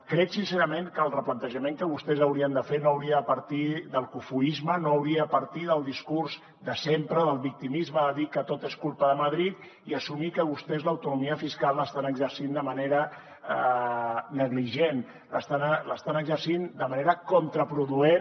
crec sincerament que el replantejament que vostès haurien de fer no hauria de partir del cofoisme no hauria de partir del discurs de sempre del victimisme de dir que tot és culpa de madrid i assumir que vostès l’autonomia fiscal l’estan exercint de manera negligent l’estan exercint de manera contraproduent